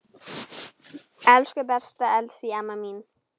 Elsku besta Elsý amma mín.